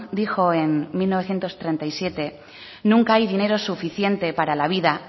dijo en mil novecientos treinta y siete nunca hay dinero suficiente para la vida